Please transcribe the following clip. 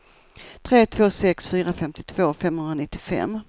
tre två sex fyra femtiotvå femhundranittiofem